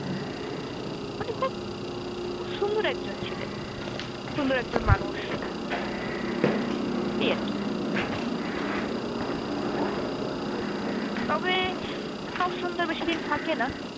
খুব সুন্দর একজন ছিলেন, সুন্দর একজন মানুষ এই আর কি তবে সব সুন্দর বেশিদিন থাকে না